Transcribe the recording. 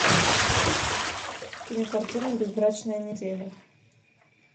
кинокартина безбрачная неделя